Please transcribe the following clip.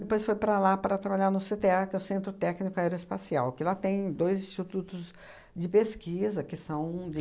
Depois foi para lá para trabalhar no cê tê a, que é o Centro Técnico Aeroespacial, que lá tem dois institutos de pesquisa, que são de...